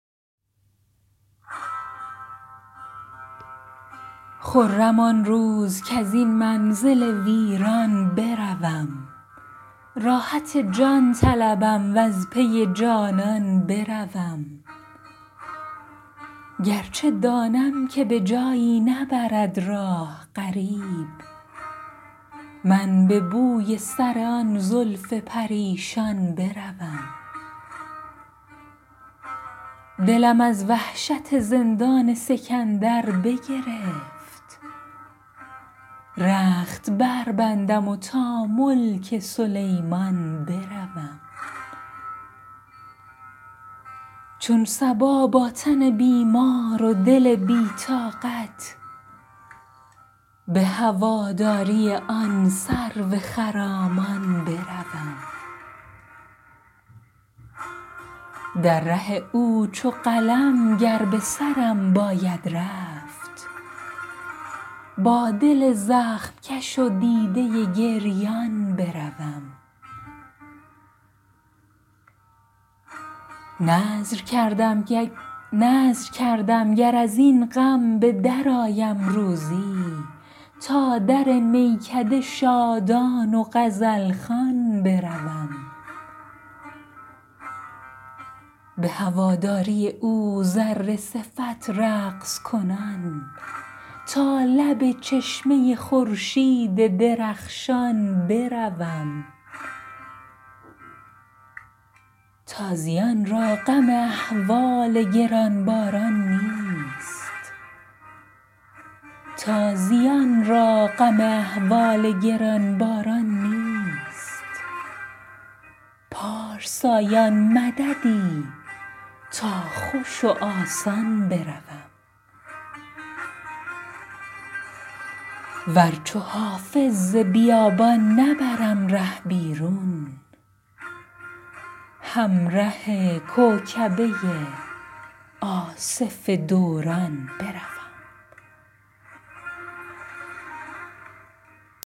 خرم آن روز کز این منزل ویران بروم راحت جان طلبم و از پی جانان بروم گر چه دانم که به جایی نبرد راه غریب من به بوی سر آن زلف پریشان بروم دلم از وحشت زندان سکندر بگرفت رخت بربندم و تا ملک سلیمان بروم چون صبا با تن بیمار و دل بی طاقت به هواداری آن سرو خرامان بروم در ره او چو قلم گر به سرم باید رفت با دل زخم کش و دیده گریان بروم نذر کردم گر از این غم به درآیم روزی تا در میکده شادان و غزل خوان بروم به هواداری او ذره صفت رقص کنان تا لب چشمه خورشید درخشان بروم تازیان را غم احوال گران باران نیست پارسایان مددی تا خوش و آسان بروم ور چو حافظ ز بیابان نبرم ره بیرون همره کوکبه آصف دوران بروم